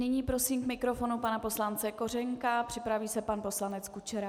Nyní prosím k mikrofonu pana poslance Kořenka, připraví se pan poslanec Kučera.